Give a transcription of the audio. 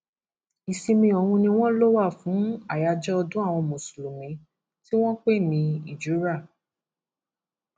ìsinmi ọhún ni wọn lọ wà fún àyájọ ọdún àwọn mùsùlùmí tí wọn ń pè ní hijurah